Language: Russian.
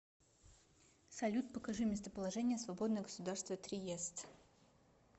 салют покажи местоположение свободное государство триест